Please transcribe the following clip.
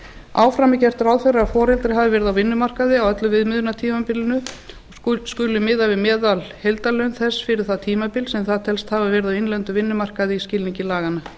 áfram er gert ráð fyrir að foreldrar hafi verið á vinnumarkaði á öllu viðmiðunartímabilinu og skuli miða við meðalheildarlaun þess fyrir það tímabil sem það telst hafa verið á innlendum vinnumarkaði í skilningi laganna